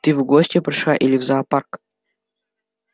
ты в гости пришла или в зоопарк